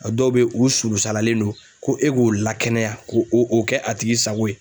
A dɔw bɛ u sulu salalen don ko e k'o lakɛnɛya ko o kɛ a tigi sago ye.